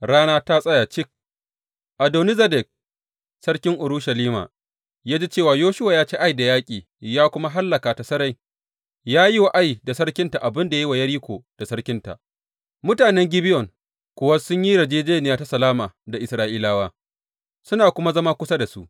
Rana ta tsaya cik Adoni Zedek sarkin Urushalima ya ji cewa Yoshuwa ya ci Ai da yaƙi ya kuma hallaka ta sarai, ya yi wa Ai da sarkinta abin da ya yi wa Yeriko da sarkinta, mutanen Gibeyon kuwa sun yi yarjejjeniya ta salama da Isra’ilawa, suna kuma zama kusa da su.